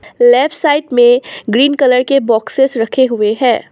Left side में green colour के boxes रखे हुए हैं।